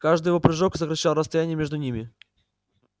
каждый его прыжок сокращал расстояние между ними